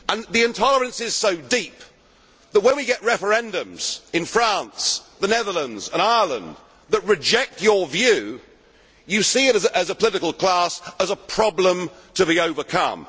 The intolerance is so deep that, when we get referendums in France, the Netherlands and Ireland that reject your view, you as a political class see it as a problem to be overcome.